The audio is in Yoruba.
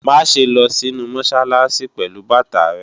Má ṣe lọ sínu Mọ́sálásí pẹ̀lú bàtà rẹ!